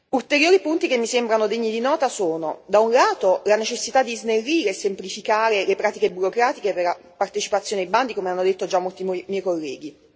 Ulteriori punti che mi sembrano degni di nota sono, da un lato, la necessità di snellire e semplificare le pratiche burocratiche per la partecipazione ai bandi come hanno detto già molti colleghi.